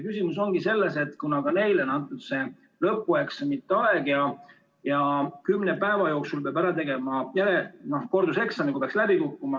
Küsimus on selles, et kuna ka neile kehtib see lõpueksamite aeg ja kümne päeva jooksul peab ära tegema järel- või korduseksami, kui peaks läbi kukkuma.